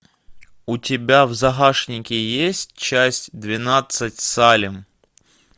у тебя в загашнике есть часть двенадцать салем